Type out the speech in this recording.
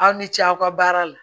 Aw ni ce aw ka baara la